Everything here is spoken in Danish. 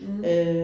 Mh